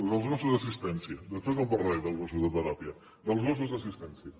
dels gossos d’assistència després en parlaré dels gossos de teràpia dels gossos d’assistència